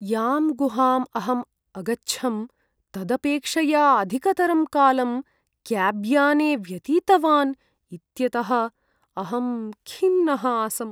यां गुहाम् अहम् अगच्छं तदपेक्षया अधिकतरं कालं क्याब्याने व्यतीतवान् इत्यतः अहं खिन्नः आसम्।